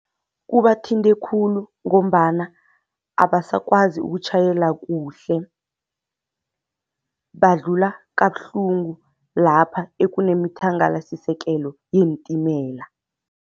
Kubathinte khulu ngombana abasakwazi ukutjhayela kuhle, badlula kabuhlungu lapha ekunemithangalasisekelo yeentimela.